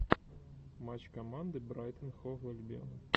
матч команды брайтон хов альбион